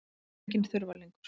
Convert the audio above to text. Ég er enginn þurfalingur.